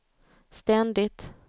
ständigt